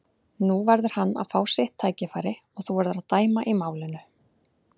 Nú verður hann að fá sitt tækifæri og þú verður að dæma í málinu.